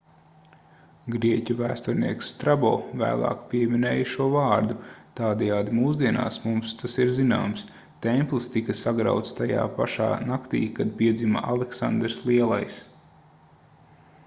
grieķu vēsturnieks strabo vēlāk pieminēja šo vārdu tādējādi mūsdienās mums tas ir zināms templis tika sagrauts tajā pašā naktī kad piedzima aleksandrs lielais